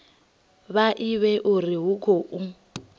vha ivhe uri hu khou